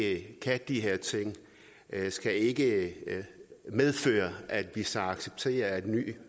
ikke kan de her ting skal ikke medføre at vi så accepterer at nye